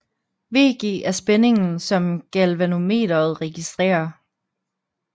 VG er spændingen som galvanometret registrerer